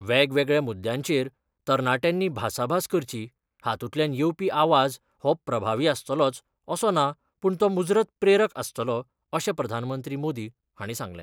वेगवेगळ्या मुद्द्यांचेर तरणाट्यांनी भासाभास करची हातूंतल्यान येवपी आवाज हो प्रभावी आसतलोच असो ना पूण तो मुजरत प्रेरक आसतलो अशें प्रधानमंत्री मोदी हांणी सांगलें.